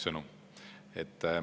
See oleks mu sõnum.